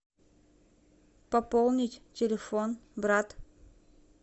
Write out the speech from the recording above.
пополнить телефон брат